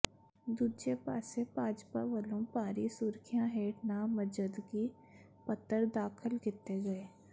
ਦੂਜੇ ਪਾਸੇ ਭਾਜਪਾ ਵੱਲੋਂ ਭਾਰੀ ਸੁਰੱਖਿਆ ਹੇਠ ਨਾਮਜ਼ਦਗੀ ਪੱਤਰ ਦਾਖਲ ਕੀਤੇ ਗਏ